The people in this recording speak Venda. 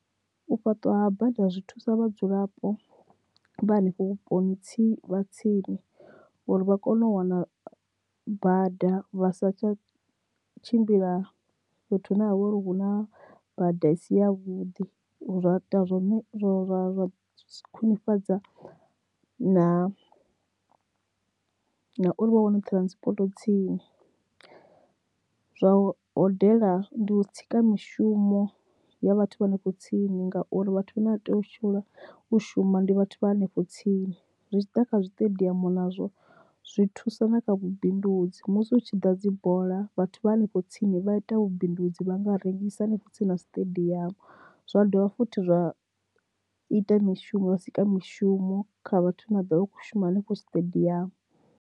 U fhaṱwa ha bada zwi thusa vhadzulapo vha hanefho vhuponi tsini tsini uri vha kone u wana bada vha sa tsha tshimbila fhethu hune ha vha uri hu na bada isi ya vhuḓi zwa ita zwone zwo ra khwinifhadza na uri vha wane transport tsini, zwa o hodela ndi tsika mishumo ya vhathu vha hanefho tsini ngauri vhathu vha ne vha tea u shela u shuma ndi vhathu vha hanefho tsini zwitshiḓa kha zwiṱediamu nazwo zwi thusa na kha vhubindudzi musi hu tshi ḓa dzi bola vhathu vha hanefho tsini vha ita vhubindudzi vha nga rengisa hanefho tsini na siṱediamu zwa dovha futhi zwa ita mishumo vha sika mishumo kha vhathu vha na do vha kho shuma hanefho tshiṱediamu.